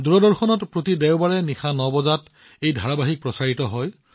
দূৰদৰ্শনত প্ৰতি দেওবাৰে নিশা ৯ বজাত এয়া সম্প্ৰচাৰ কৰা হয়